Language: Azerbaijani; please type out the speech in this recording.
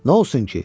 Nə olsun ki?